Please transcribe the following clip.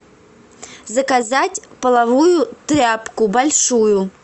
заказать половую тряпку большую